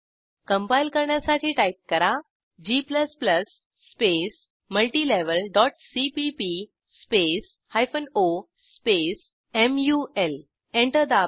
compile करण्यासाठी type करा g multilevelसीपीपी o मुल एंटर दाबा